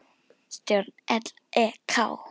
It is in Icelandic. Stjórn LEK